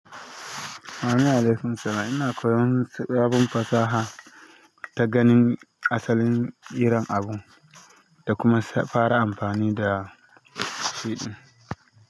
Amin alaikum Salam. Ina koyon abin fasaha ta ganin asalin irin abu da kuma fara amfani da shi.